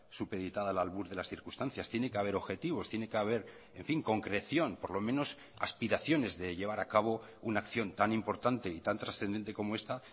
supeditada al albur de las circunstancias tiene que haber objetivos tiene que haber en fin concreción por lo menos aspiraciones de llevar a cabo una acción tan importante y tan trascendente como esta